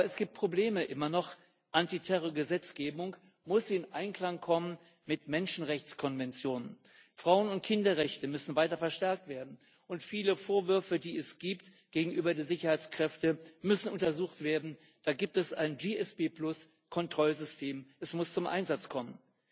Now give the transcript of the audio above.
Es gibt aber immer noch Probleme Die Antiterrorgesetzgebung muss in Einklang mit Menschenrechtskonventionen kommen, Frauen und Kinderrechte müssen weiter verstärkt werden, und viele Vorwürfe, die es gegenüber den Sicherheitskräften gibt, müssen untersucht werden. Da gibt es ein APS Kontrollsystem es muss zum Einsatz kommen.